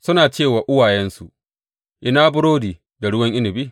Suna ce wa uwayensu, Ina burodi da ruwan inabi?